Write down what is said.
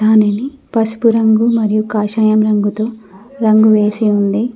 పసుపు రంగు మరియు కాషాయం రంగుతో రంగు వేసి ఉంది.